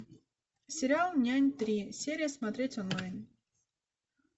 сериал нянь три серия смотреть онлайн